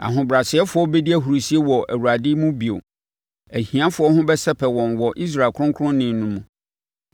Ahobrɛasefoɔ bɛdi ahurisie wɔ Awurade mu bio; ahiafoɔ ho bɛsɛpɛ wɔn wɔ Israel Ɔkronkronni no mu.